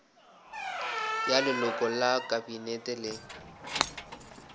ya leloko la kabinete le